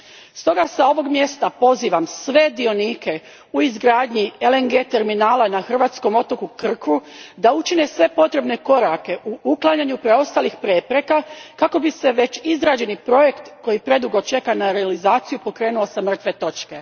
Stoga s ovog mjesta pozivam sve dionike u izgradnji LNG terminala na hrvatskom otoku Krku da učine sve potrebne korake u uklanjanju preostalih prepreka kako bi se već izrađeni projekt koji predugo čeka na realizaciju pokrenuo s mrtve točke.